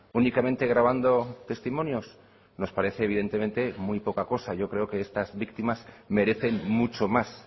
únicamente grabando testimonios nos parece evidentemente muy poca cosa yo creo que estas víctimas merecen mucho más